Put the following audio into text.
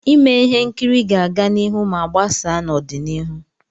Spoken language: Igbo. Ime ihe nkiri ga-aga n'ihu ma gbasaa n'ọdịnihu.